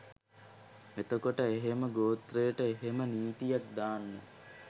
එතකොට එහෙම ගෝත්‍රයට එහෙම නීතියක් දාන්න